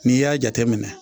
N'i y'a jateminɛ.